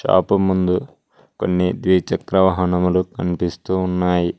Shop ముందు కొన్ని ద్విచక్ర వాహనములు కనిపిస్తూ ఉన్నాయి.